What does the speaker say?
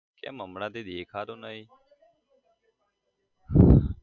કેમ હમણાં થી દેખાતો નહી?